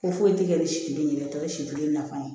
Ko foyi tɛ kɛ ni si kelen ye tɔ ye si kelen nafa ye